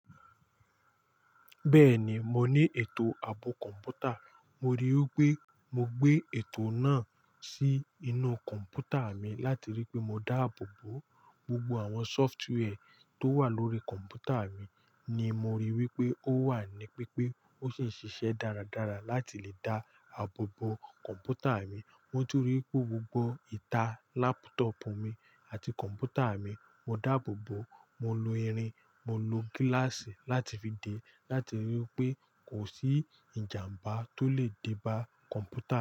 Bẹ́ẹ̀ni, mo ní ètò ààbò kọ̀ǹpútà. Mo rí i pé mo gbé ètò náà sí inú kọ̀ǹpútà mi láti rí i pé mo dáàbò bo gbogbo àwọn sófútúwẹ́ tó wà lórí kọ̀ǹpútà mi ni mo rí i wípé ó wà ní pípé ó sì ń ṣiṣẹ́ dáradára láti lè dá àbò bo kọ̀ǹpútà mi. Mo ti rí i pé gbogbo ìta laptop mi àti kọ̀ǹpútà mi mo dáàbò bo. Mo lo irin, mo lo gíláàsì láti fi dè láti rí i pé kò sí ìjàmbá tó lè dé bá kọ̀ǹpútà mi.